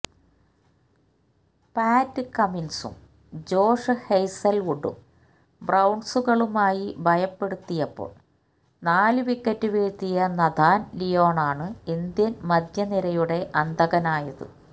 പാറ്റ് കമ്മിൻസും ജോഷ് ഹേസൽവുഡും ബൌൺസുകളുമായി ഭയപ്പെടുത്തിയപ്പോൾ നാലു വിക്കറ്റ് വീഴ്ത്തിയ നതാൻ ലിയോണാണ് ഇന്ത്യൻ മധ്യനിരയുടെ അന്തകനായത്